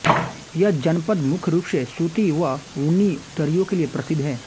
यह जनपद मुख्य रूप से सूती व ऊनी दरियों के लिये प्रसिद्ध है